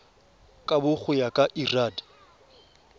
kabo go ya ka lrad